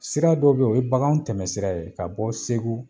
Sira dɔw be yen o ye baganw tɛmɛsira ye ka bɔ segu